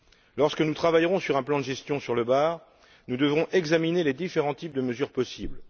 Lorsque nous travaillerons sur un plan de gestion sur le bar, nous devrons examiner les différents types de mesures possibles.